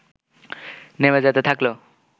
নেমে যেতে থাকল